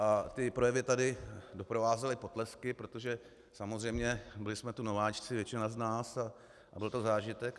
A ty projevy tady doprovázely potlesky, protože samozřejmě byli jsme tu nováčci většina z nás, a byl to zážitek.